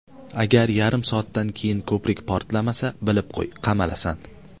Agar yarim soatdan keyin ko‘prik portlamasa, bilib qo‘y, qamalasan!